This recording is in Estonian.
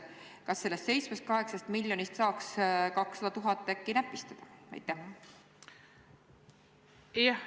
Kas sellest 7–8 miljonist saaks äkki näpistada 200 000 eurot?